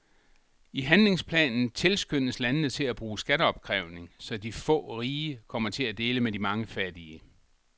I handlingsplanen tilskyndes landene til at bruge skatteopkrævning, så de få rige kommer til at dele med de mange fattige.